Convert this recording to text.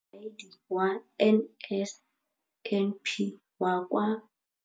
Mokaedi wa NSNP kwa lefapheng leno, Neo Rakwena,